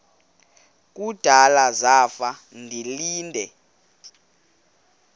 kudala zafa ndilinde